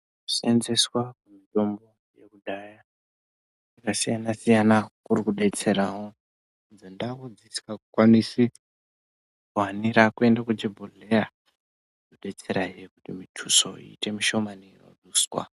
Senzeswa mutombo yekudhaya yakasiyana siyana kuri kudetserawo idzo ndau dzisingakwanisi kuhanira kuende kuchibhodhleya inodetserahe kuti mutuso iite mushomani inoduswa.